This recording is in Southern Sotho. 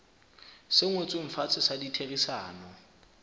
se ngotsweng fatshe sa ditherisano